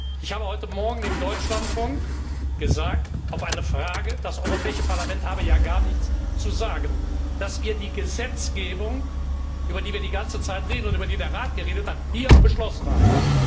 Ich habe heute Morgen im Deutschlandfunk auf eine Anspielung, das Europäische Parlament habe ja gar nichts zu sagen, gesagt, dass wir die Gesetzgebung, über die wir die ganze Zeit reden und über die der Rat geredet hat, hier beschlossen haben.